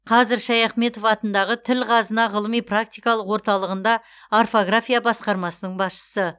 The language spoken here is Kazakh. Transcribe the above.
қазір шаяхметов атындағы тіл қазына ғылыми практикалық орталығында орфография басқармасының басшысы